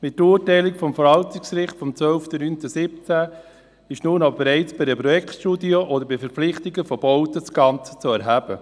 Mit dem Urteil des Verwaltungsgerichts vom 12. September 2017 ist nun aber bereits bei einer Projektstudie oder einem Verpflichtungskredit die Gant zu erheben.